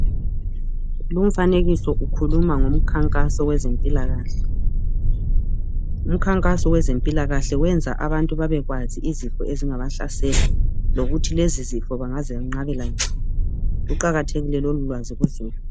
Lumfanekiso ukhuluma ngomkhankaso wezempilakahle, lumkhankaso wezempilakahle wenza abantu babekwazi izifo ezingabahlasela lokuthi lezi zifo bangazenqabela njani luqakathekile lolu lwazi kuzimi.